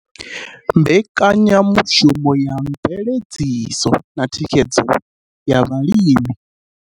Mbekanyamushumo ya Mveledziso na Thikhedzo ya Vhalimi.